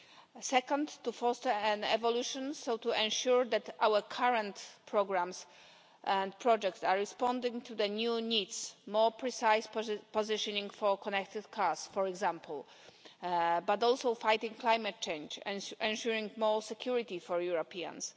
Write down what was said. The second is to foster an evolution to ensure that our current programmes and projects are responding to the new needs more precise positioning for connected cars, for example but also fighting climate change and ensuring more security for Europeans.